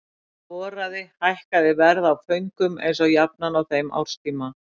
Þegar voraði hækkaði verð á föngum eins og jafnan á þeim árstíma.